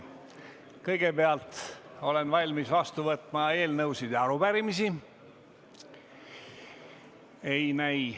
Kõigepealt olen valmis vastu võtma eelnõusid ja arupärimisi.